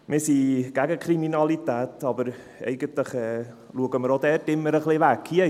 Wir sind gegen Kriminalität, aber eigentlich schauen wir auch dort immer ein wenig weg.